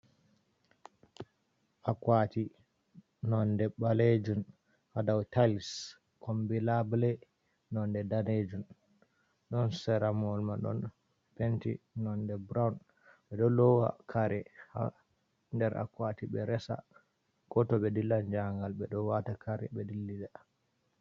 Akwati nonde ɓalejum ha dou tiles kombi labule nonde danejum, ɗon sera mahol mai ɗon penti nonde brown, ɓe ɗo lowa kare nder akwati ɓe resa, ko to ɓe dillan njahangal ɓe ɗo wata kare ɓe dillida.